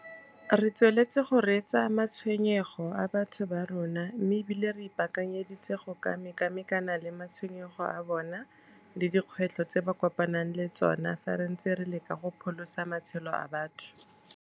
Re tsweletse go reetsa matshwenyego a batho ba rona mme e bile re ipaakanyeditse go ka mekamekana le matshwenyego a bona le dikgwetlho tse ba kopanang le tsona fa re ntse re leka go pholosa matshelo a batho.